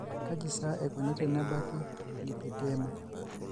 Kaji sa eikoni tenebaki lipedema?